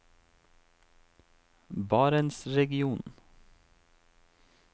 barentsregionen